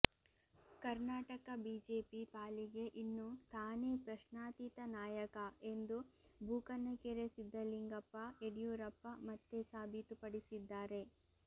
Karnataka BJP ಪಾಲಿಗೆ ಇನ್ನೂ ತಾನೇ ಪ್ರಶ್ನಾತೀತ ನಾಯಕ ಎಂದು ಬೂಕನಕೆರೆ ಸಿದ್ದಲಿಂಗಪ್ಪ ಯಡಿಯೂರಪ್ಪ ಮತ್ತೆ ಸಾಬೀತುಪಡಿಸಿದ್ದಾರೆ